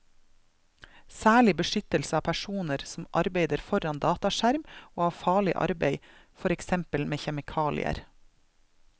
Særlig beskyttelse av personer som arbeider foran dataskjerm og av farlig arbeid, for eksempel med kjemikalier.